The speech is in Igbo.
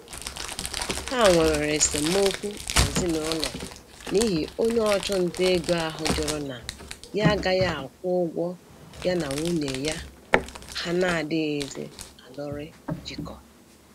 Ha nwewere esemokwu n'ezinụlọ n'ihi onye ọchụnta ego ahụ jụrụ na ya agaghị akwụ ụgwọ ya na nwunye ya ha na-adịghịzi alụrị jikọ